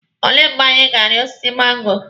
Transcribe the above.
Olee mgbe anyị ga-ari osiso mango?